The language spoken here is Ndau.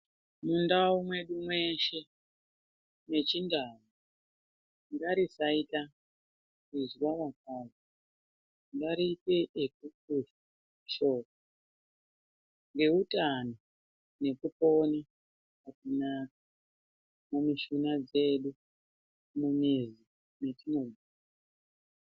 Mundau medu meshe mechindau muntu akuzwa marwadzo vanoende kopuwa mishonga ngekuti vantu mukupona mumushuna dzedu mune zvitenda.